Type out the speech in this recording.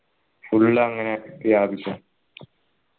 full അങ്ങനെ വ്യാപിച്ച്